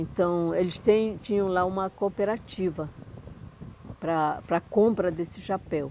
Então, eles tem tinham lá uma cooperativa para para compra desse chapéu.